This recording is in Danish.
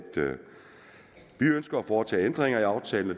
vi ønsker at foretage ændringer i aftalen og